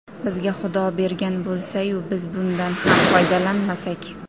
Bizga Xudo bergan bo‘lsa-yu, biz bundan ham foydalanmasak.